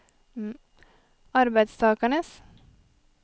arbeidstakernes